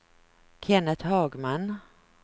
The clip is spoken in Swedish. Kennet Hagman